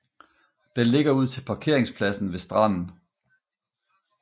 Den ligger ud til parkeringspladsen ved stranden